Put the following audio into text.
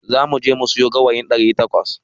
Zamu je mu sayo gawayin ɗari takwas.